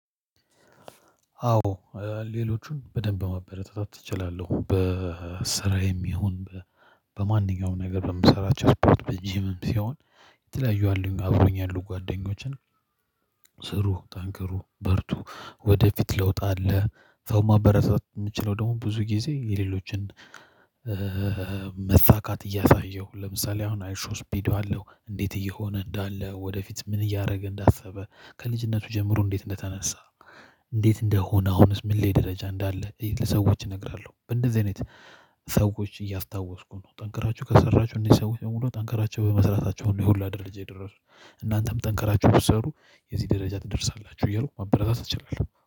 አዎ ሌሎቹን በደንብ ማበረታታት እችላለሁ። በስራዬም ይሁን በማንኛውም ነገር በምሰራቸው ስፖርት በጅምም ሲሆን የተለያዩ አሉኝ አብረውኝ ያሉ ጓደኞችን ስሩ ጠንከሩ በርቱ ወደፊት ለውጥ አለ። ሰው ማበረሰብ የምንችለው ደግሞ ብዙ ጊዜ የሌሎችን መፋካት እያሳየሁ ለምሳሌ አሁን አይ ሾው ስፒድ አለው እንዴት እየሆነ እንዳለ ወደፊት ምን እያደረገ እንዳሰበ ከልጅነቱ ጀምሮ እንዴት እንደተነሳ እንዴት እንደሆነ አሁንስ ምን ላይ ደረጃ እንዳለ ለሰዎች እነግራለሁ። በእንደዚህ አይነት ሰዎች እያስታወስኩ ነው። ጠንክራችሁ ከሰራችሁ እነዚ ሰውች የምሙሉ ጠንክራቸው በመስራታቸው ነው ይሁላ ደረጃ የደረሱ እናንተም ጠንክራችሁ ብትሰሩ የዚህ ደረጃ ትደርሳላችሁ እያሉ ማበረታት እችላለሁ።